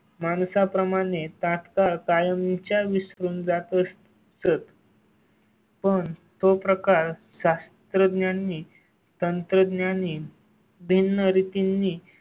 माणसा प्रमाणे तत्काळ कायमच्या विसरून जातो. स्रोत. पण तो प्रकार शास्त्रज्ञांनी, तंत्रज्ञांनी. दिन रीतींनी.